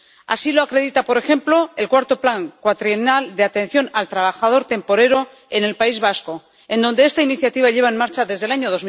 Así lo acredita, por ejemplo, el IV Plan cuatrienal de atención al trabajador temporero en el País Vasco, en donde esta iniciativa lleva en marcha desde el año